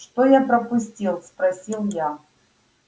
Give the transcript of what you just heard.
что я пропустил спросил я